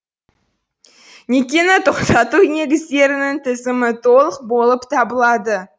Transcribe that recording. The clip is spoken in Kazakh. некені тоқтату негіздерінің тізімі толық болып табылады